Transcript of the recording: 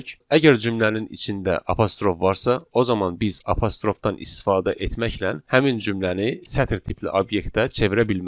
əgər cümlənin içində apostrof varsa, o zaman biz apostrofdan istifadə etməklə həmin cümləni sətr tipli obyektə çevirə bilmərik.